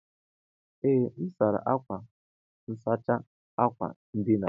Ee, m sara akwa nsachi akwa ndina